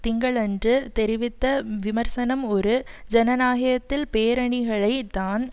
திங்களன்று தெரிவித்த விமர்சனம் ஒரு ஜனநாகத்தில் பேரணிகளை தான்